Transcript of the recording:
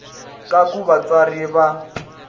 ka ku va vatswari va